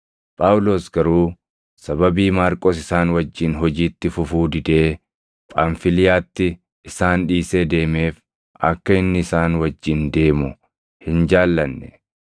Phaawulos garuu sababii Maarqos isaan wajjin hojiitti fufuu didee Phamfiliyaatti isaan dhiisee deemeef akka inni isaan wajjin deemu hin jaallanne.